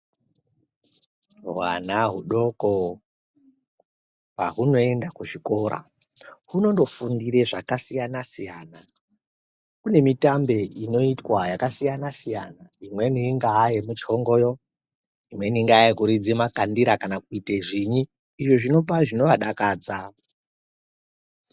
Hwana hudoko pahunoenda kuzvikora hunondofundire zvakasiyana siyana kune mitambe inoitwa yakasiya siyana imweni ingaa yemuchingoyo imweni inga yekuridze makandira kana kuite zvinyi izvo zvinopa zvinovadakadza.